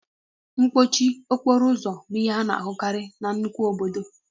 Mkpọchi okporo ụzọ bụ ihe a na-ahụkarị na nnukwu obodo.